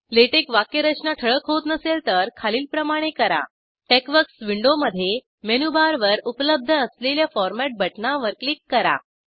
LaTeX वाक्यरचना ठळक होत नसेल तर खालील प्रमाणे करा टेक्सवर्क्स विंडोमध्ये मेनू बारवर उपलब्ध असलेल्या फॉरमेट बटणावर क्लिक करा